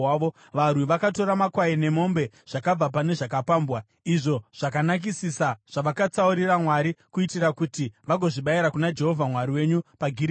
Varwi vakatora makwai nemombe zvakabva pane zvakapambwa, izvo zvakanakisisa zvavakatsaurira Mwari, kuitira kuti vagozvibayira kuna Jehovha Mwari wenyu paGirigari.”